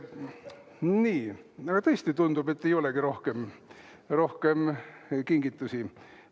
Nii, tõesti tundub, et ei olegi rohkem kingitusi.